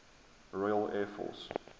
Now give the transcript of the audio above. royal air force